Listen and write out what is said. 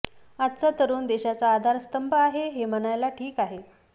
आजचा तरुण देशाचा आधारस्तंभ आहे हे म्हणायला ठीक आहे